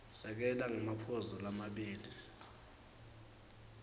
sekela ngemaphuzu lamabili